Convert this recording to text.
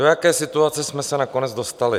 Do jaké situace jsme se nakonec dostali?